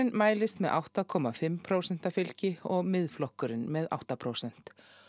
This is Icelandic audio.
mælist með átta komma fimm prósenta fylgi og Miðflokkurinn með átta prósent